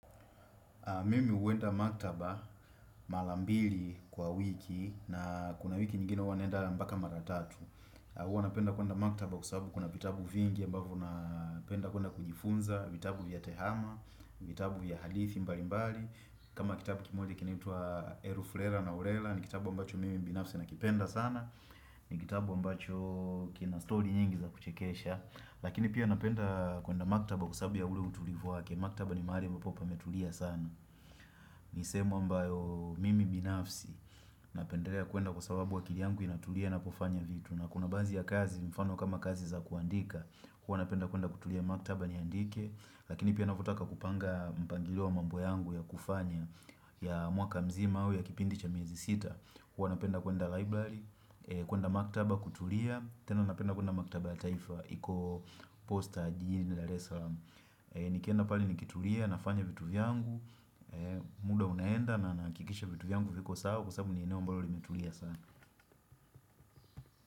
Mimi uenda maktaba mala mbili kwa wiki na kuna wiki nyingine uwa nenda mbaka maratatu. Uwa napenda kuenda maktaba kusabu kuna vitabu vingi ambavu napenda kuenda kujifunza, vitabu vya tehama, vitabu vya hadithi mbali mbali. Kama kitabu kimoje kinaitua Elufrela na Orela ni kitabu ambacho mimi mbinafsi nakipenda sana. Ni kitabu ambacho kina story nyingi za kuchekesha. Lakini pia napenda kuenda maktaba kusabu ya ule utulivu wake. Maktaba ni mahali mbapo pametulia sana Nisehemu ambayo mimi binafsi Napenderea kuenda kwa sababu wakili yangu inaturia na pofanya vitu na kuna banzi ya kazi mfano kama kazi za kuandika huwa napenda kuenda kutulia maktaba niandike Lakini pia nafutaka kupanga mpangilio wa mambo yangu ya kufanya ya mwaka mzima au ya kipindi cha miezi sita huwa napenda kuenda library kuenda maktaba kutulia tena napenda kuenda maktaba taifa iko posta jini la reslam Nikienda pale nikitulia, nafanya vitu vyangu muda unaenda na nakikisha vitu vyangu viko saa Kusabu niineo mbalo limetulia sana.